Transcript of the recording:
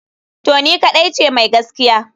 To ni kadai ce mai gaskiya?